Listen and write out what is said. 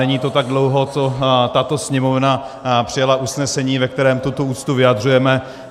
Není to tak dlouho, co tato Sněmovna přijala usnesení, ve kterém tuto úctu vyjadřujeme.